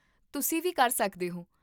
ਤੁਸੀਂ ਵੀ ਕਰ ਸਕਦੇ ਹੋ